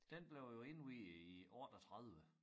Den blev jo indviet i 38